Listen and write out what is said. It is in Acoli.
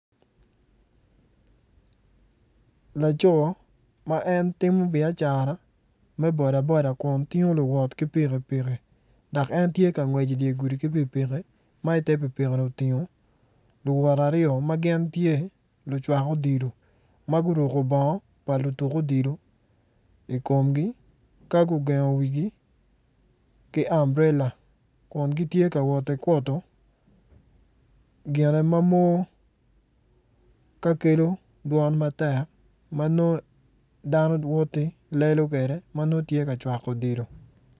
Laco ma en timo biacara me boda boda kun tingo luwot ki pikipiki dok en tye ka ngwec idye gudi ki pikipiki ma ite piki-ni otingo luwot aryo ma gin tye lucwak odilo ma guruko bongo pa lutuk odilo i komgi ka gugengo wigi ki amburela kun gitye ka woti kuto gine mamor ka kelo dwon matek ma nongo dano woti lelo kede ma nongo tye ka cwako odilo.